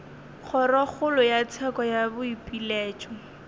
kgorokgolo ya tsheko ya boipiletšo